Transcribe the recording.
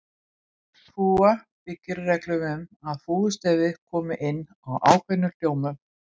Fúga byggir á reglum um að fúgustefið komi inn á ákveðnum hljómum.